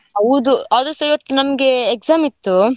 ಹೌದು ಆದ್ರೂಸಾ ಇವತ್ತು ನಮ್ಗೆ exam ಇತ್ತು.